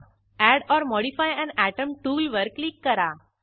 add or modify an atom टूलवर click करा